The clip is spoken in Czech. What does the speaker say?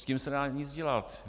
S tím se nedá nic dělat.